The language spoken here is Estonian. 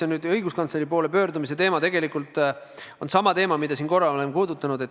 No see õiguskantsleri poole pöördumise teema on tegelikult sama teema, mida mina olen siin korra puudutanud.